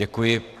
Děkuji.